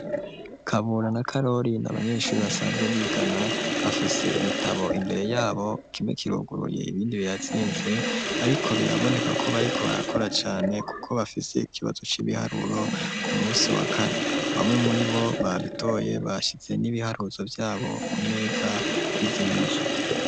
Kabura na Karori n'abanyeshuri basanzwe bigana bafise ibitabo imbere yabo kimwe kiruguruye ibindi birazinze ariko biraboneka ko bariko barakora cane kuko bafise ikibazo c'ibiharuro ku musi wa kane bamwe muribo babitoye bashize n'ibiharuzo vyabo kumeza bizimije.